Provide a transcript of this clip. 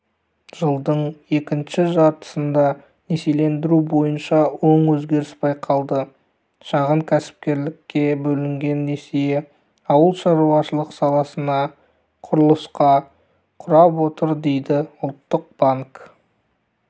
жылдың екінші жартысында несиелендіру бойынша оң өзгеріс байқалады шағын кәсіпкерлікке бөлінген несие ауыл шаруашылығы саласына құрылысқа құрап отыр дейді ұлттық банк